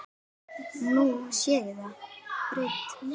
Nú sé það breytt.